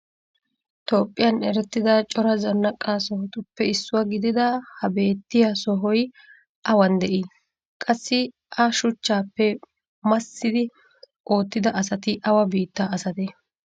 Toophiyan erettida cora zanaqqa sohotuppe issuwa gididda ha beettiya sohoy awan de'ii? Qassi a shuchchaappe massidi oottida asati awa biittaa asatee?